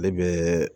Ale bɛ